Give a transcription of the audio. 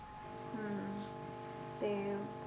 ਹੁੰ ਤੇ